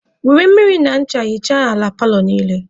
Were mmiri na ncha hichaa ala paalọ niile.